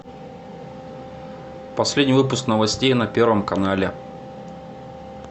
последний выпуск новостей на первом канале